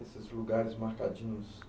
Esses lugares marcadinhos.